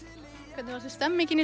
hvernig fannst þér stemningin í